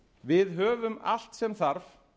við höfum allt sem þarf